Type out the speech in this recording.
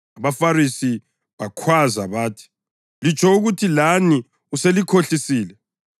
AbaFarisi bakhwaza bathi, “Litsho ukuthi lani uselikhohlisile?